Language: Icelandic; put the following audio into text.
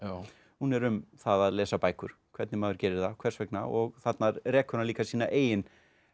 hún er um það að lesa bækur hvernig maður gerir það hvers vegna og þarna rekur hann líka sína eigin